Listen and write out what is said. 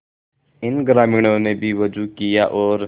इन ग्रामीणों ने भी वजू किया और